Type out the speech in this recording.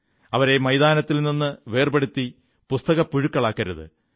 അവരെ മൈതാനത്തിൽ നിന്നും വേർപെടുത്തി പുസ്തകപ്പുഴുക്കളാക്കരുത്്